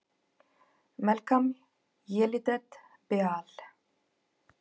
Melkam Yelidet Beaal!